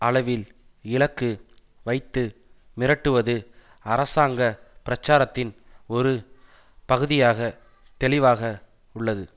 அளவில் இலக்கு வைத்து மிரட்டுவது அரசாங்க பிரச்சாரத்தின் ஒரு பகுதியாக தெளிவாக உள்ளது